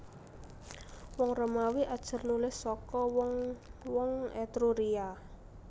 Wong Romawi ajar nulis saka wong wong Etruria